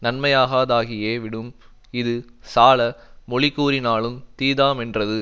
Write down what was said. நன்மையாகாதாகியே விடும் இது சால மொழிகூறினாலுந் தீதாமென்றது